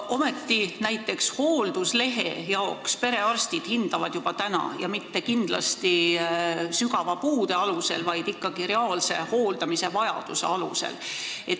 Ometi, näiteks hoolduslehe jaoks hindavad perearstid seda juba täna ja nad ei tee seda kindlasti mitte vaid puudeastme alusel, vaid ikkagi reaalse hooldamisvajaduse alusel.